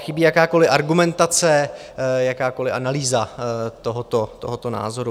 Chybí jakákoli argumentace, jakákoli analýza tohoto názoru.